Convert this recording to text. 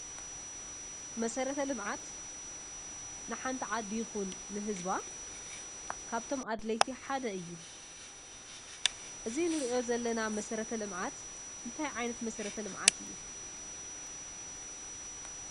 መሰረተ ልምዓት ንሓንቲ ዓዲ ይኩን ንህዝባ ካብቶም ኣድለይቲ ሓደ እዩ። እዙይ እንርእዮ ዘለና መሰረተ ልምዓት እንታይ ዓይነት መሰረተ ልምዓት እዩ?